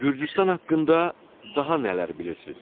Gürcüstan haqqında daha nələr bilirsiz?